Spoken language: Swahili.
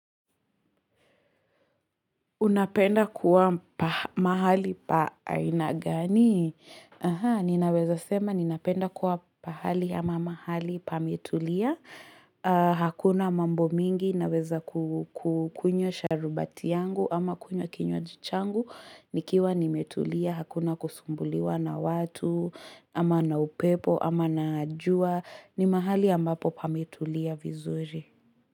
Unapenda kuwa mahali pa aina gani? Aha, ninaweza sema ninapenda kuwa pahali ama mahali pametulia. Hakuna mambo mingi, naweza kukunywa sharubati yangu ama kunywa kinywaji changu. Nikiwa nimetulia, hakuna kusumbuliwa na watu, ama na upepo, ama na jua. Ni mahali ambapo pametulia vizuri.